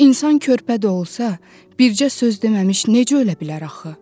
İnsan körpə də olsa bircə söz deməmiş necə ölə bilər axı?